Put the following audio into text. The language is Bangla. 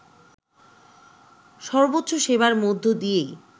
সর্বোচ্চ সেবার মধ্য দিয়েই